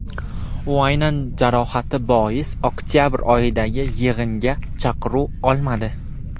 U aynan jarohati bois oktabr oyidagi yig‘inga chaqiruv olmadi.